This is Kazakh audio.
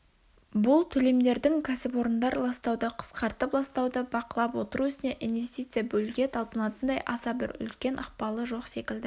бұл төлемдердің кәсіпорындар ластауды қысқартып ластауды бақылап отыру ісіне инвестиция бөлуге талпынатындай аса бір үлкен ықпалы жоқ секілді